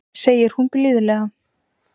segir hún blíðlega.